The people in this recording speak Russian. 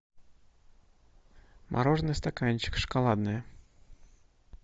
мороженое стаканчик шоколадное